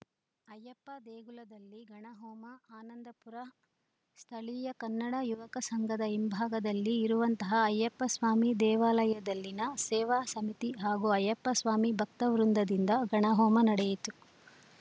ಅಯ್ಯಪ್ಪ ದೇಗುಲದಲ್ಲಿ ಗಣಹೋಮ ಆನಂದಪುರ ಸ್ಥಳೀಯ ಕನ್ನಡ ಯುವಕ ಸಂಘದ ಹಿಂಭಾಗದಲ್ಲಿ ಇರುವಂತಹ ಅಯ್ಯಪ್ಪ ಸ್ವಾಮಿ ದೇವಾಲಯದಲ್ಲಿನ ಸೇವಾ ಸಮಿತಿ ಹಾಗು ಅಯ್ಯಪ್ಪ ಸ್ವಾಮಿ ಭಕ್ತವೃಂದದಿಂದ ಗಣಹೋಮ ನಡೆಯಿತು